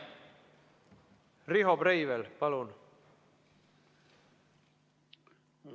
Riho Breivel, palun!